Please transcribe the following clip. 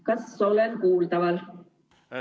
Kas olen kuuldav?